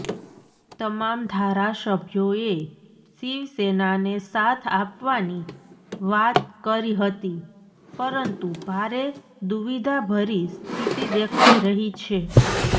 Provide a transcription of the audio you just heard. તમામ ધારાસભ્યોએ શિવસેનાને સાથ આપવાની વાત કરી હતી પરંતુ ભારે દુવિધાભરીસ્થિતિ દેખાઈ રહી છે